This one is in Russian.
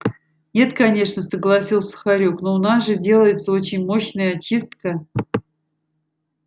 нет конечно согласился хорёк но у нас же делается очень мощная очистка